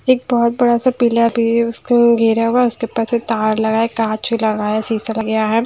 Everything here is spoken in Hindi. एक बहुत बड़ा सा पीला पेड़ उसको गिरा हुआ उसके ऊपर से तार लगा है काँच लगा है सीसा लगाया है।